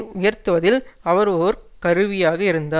உயர்த்துவதில் அவர் ஒரு கருவியாக இருந்தார்